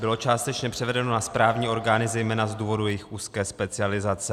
Bylo částečně převedeno na správní orgány zejména z důvodu jejich úzké specializace.